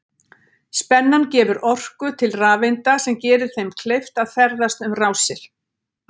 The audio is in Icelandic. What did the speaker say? Spennan gefur orku til rafeinda sem gerir þeim kleift að ferðast um rásir.